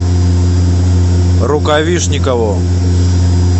рукавишникову